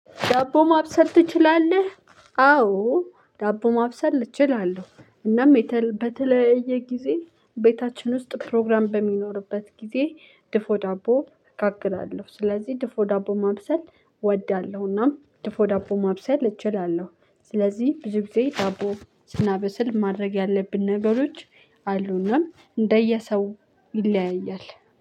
ዳቦ ማብሰል ትችላለህ? አዎ ዳቦ ማብሰል እችላለሁ። እናም በተለየ ጊዜ ቤታችን ውስጥ ፕሮግራም በሚኖርበት ጊዜ ድፎ ዳቦ እጋግራለሁ። ስለዚህ ድፎ ዳቦ ማብሰል እወዳለሁና ድፎ ዳቦ ማብሰል እችላለሁ። ስለዚህ ብዙ ጊዜ ዳቦ ስናበስል ማድረግ ያለብን ነገሮች አሉ እና እንደየሰው ይለያያል።